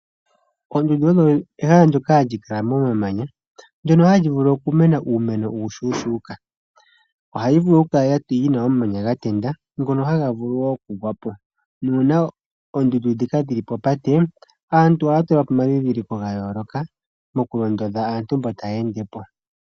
Oondundu odho ehala ndoka hali kala momamanya ndono hali vulu okumena uumeno uushuushuka . Ohali vulu okukala lina omamanya gatenda ngono haga vulu okugwapo .nuuna oondundu ndhika dhili popate aantu ohaya tulapo omadhidhiliko ga yooloka moku londodha aantu mbono taya endepo.